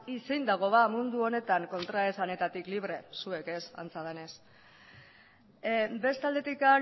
zein dago ba mundu honetan kontraesanetatik libre zuek ez antza denez beste aldetik